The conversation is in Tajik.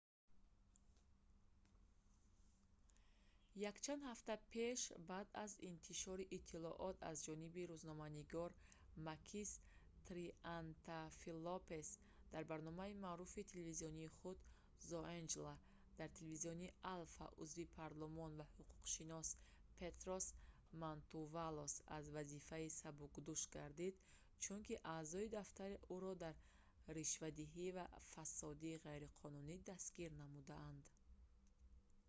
якчанд ҳафта пеш баъд аз интишори иттилоот аз ҷониби рӯзноманигори макис триантафилопулос дар барномаи маъруфи телевизионии худ «zoungla» дар телевизиони alfa узви парлумон ва ҳуқуқшинос петрос мантувалос аз вазифа сабукдӯш гардид чунки аъзои дафтари ӯро дар ришвадиҳӣ ва фасоди ғайриқонунӣ дастгир намуданд